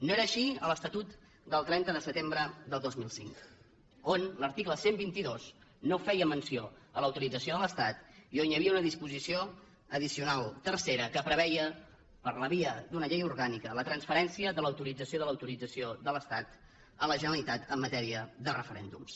no era així a l’estatut del trenta de setembre del dos mil cinc on l’article cent i vint dos no feia menció de l’autorització de l’estat i on hi havia una disposició addicional tercera que preveia per la via d’una llei orgànica la transferència de l’autorització de l’autorització de l’estat a la generalitat en matèria de referèndums